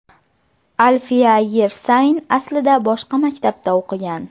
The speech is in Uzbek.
Alfiya Yersayn aslida boshqa maktabda o‘qigan.